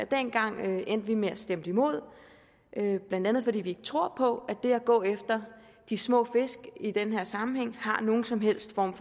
dengang endte det med at vi stemte imod blandt andet fordi vi ikke tror på det at gå efter de små fisk i den her sammenhæng har nogen som helst form